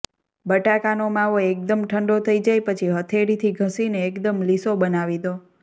બટાકાનો માવો એકદમ ઠંડો થઈ જાય પછી હથેળીથી ઘસીને એકદમ લીસો બનાવી દો